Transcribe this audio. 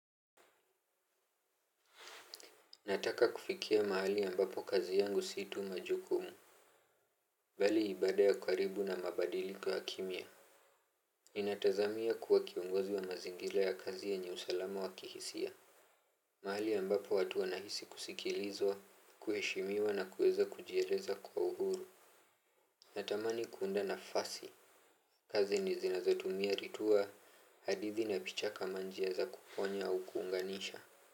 Nataka kufikia mahali ambapo kazi yangu si tu majukumu bali ibada ya karibu na mabadiliko ya kimya ninatazamia kuwa kiongozi wa mazingira ya kazi yenye usalama wa kihisia. Mahali ambapo watu wanahisi kusikilizwa, kuheshimiwa na kueza kujieleza kwa uhuru. Natamani kuunda nafasi. Kazi zinazotumia ritua, hadithi na picha kama njia za kuponya au kuunganisha.